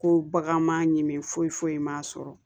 Ko bagan ma ɲi min foyi foyi ma sɔrɔ